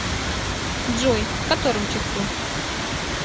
джой в котором часу